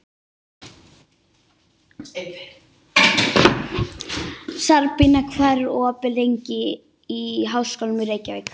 Sabrína, hvað er opið lengi í Háskólanum í Reykjavík?